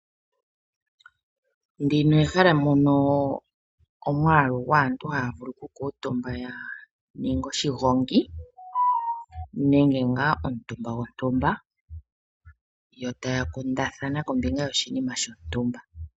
Ehala mono omwaalu gwaantu hagu vulu oku kuutumba ya ninge oshigongi ,nenge ngaa omutumba gontumba yo taya kundathana kombinga yoshinima shontumba.